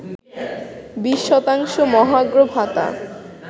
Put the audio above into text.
২০ শতাংশ মহার্ঘ ভাতা